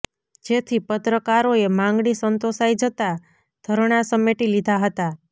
જેથી પત્રકારોએ માંગણી સંતોષાઈ જતા ધરણા સમેટી લીધા હતા